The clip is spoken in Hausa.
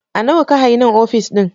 A Nawa ka hayi nan ofis ɗin?